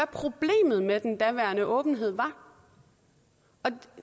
problemet med den daværende åbenhed var